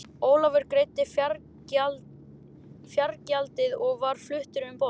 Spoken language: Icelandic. Ólafur greiddi fargjaldið og var fluttur um borð.